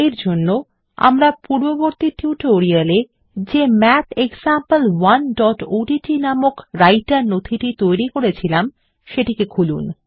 এরজন্য আমরা পূর্ববর্তী টিউটোরিয়ালে যে mathexample1ওডিটি নামক রাইটের নথিটি তৈরী করেছিলাম সেটিকে খুলুন